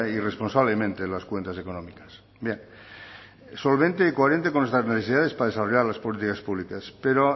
y responsablemente las cuentas económicas bien solvente y coherente con nuestras necesidades para desarrollar las políticas públicas pero